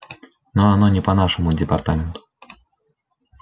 но оно не по нашему департаменту